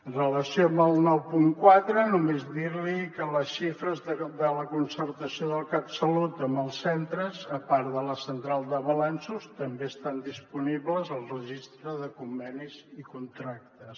en relació amb el nou punt quatre només dir li que les xifres de la concertació del catsalut amb els centres a part de la central de balanços també estan disponibles al registre de convenis i contractes